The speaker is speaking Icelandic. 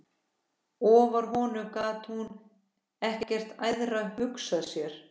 Ofar honum gat hún ekkert æðra hugsað sér.